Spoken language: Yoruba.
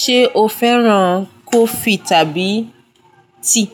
Ṣé o fẹ́ràn coffee tàbí tea?